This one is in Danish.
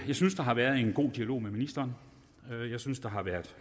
synes der har været en god dialog med ministeren jeg synes der har været